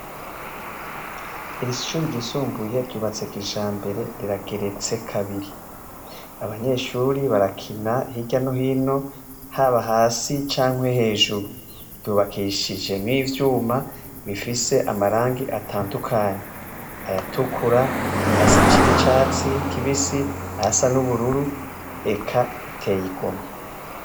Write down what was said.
Iri shuri ryisumbuye ryubatse kijambere rirageretse kabiri, abanyeshuri barakina hirya no hino haba hasi canke hejuru ryubakishije n'ivyuma bifise amarangi atandukanye, ayatukura, hasi n'icatsi kibisi, ahasa n'ubururu eka biteye igomwe.